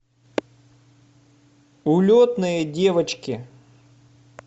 улетные девочки